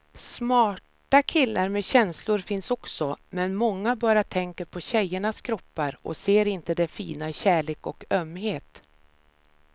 Smarta killar med känslor finns också, men många bara tänker på tjejernas kroppar och ser inte det fina i kärlek och ömhet.